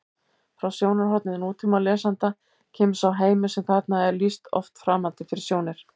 Frá sjónarhorni nútímalesanda kemur sá heimur sem þarna er lýst oft framandi fyrir sjónir: